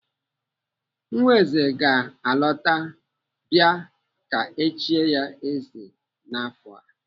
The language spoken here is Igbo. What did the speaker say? Nwa eze ga-alọta bịa ka échie ya eze n'afọ a.